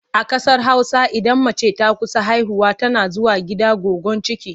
A ƙasar Hausa idan mace ta kusa haihuwa tana zuwa gida goyon ciki.